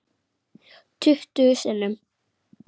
Tuttugu sinnum.